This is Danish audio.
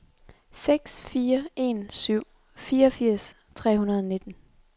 seks fire en syv fireogfirs tre hundrede og nitten